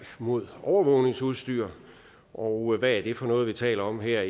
mod overvågningsudstyr og hvad er det for noget vi taler om her